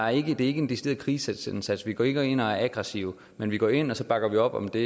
er ikke en decideret krigsindsats vi går ikke ind og er aggressive men vi går ind og så bakker vi op om det